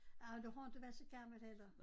Ah du har inte været så gammel heller